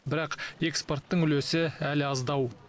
бірақ экспорттың үлесі әлі аздау